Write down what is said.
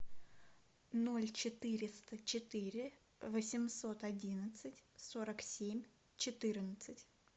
ноль четыреста четыре восемьсот одинадцать сорок семь четырнадцать